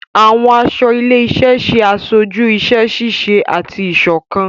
Àwọn aṣọ ilé-iṣẹ ṣe aṣoju iṣẹ-ṣiṣe ati iṣọkan.